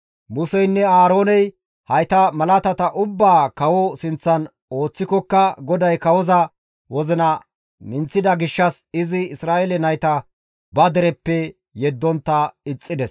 Museynne Aarooney hayta malaatata ubbaa kawoza sinththan ooththikoka GODAY kawoza wozina minththida gishshas izi Isra7eele nayta ba dereppe yeddontta ixxides.